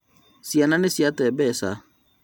Ciana nĩ ciate mbeca